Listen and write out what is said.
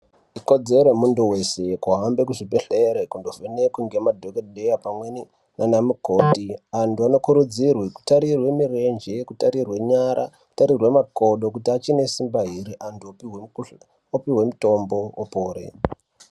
Ikodzero yemuntu weshe kuende kuzvibhehleya kundovhenekwe nemadhokodheya pamweni nanamukoti vantu vanokurudzirwe kutarirwe mirenje ,kutarirwe nyara ,kutarirwe makodo kuti achine simba ere antu opiwe mitombo opore.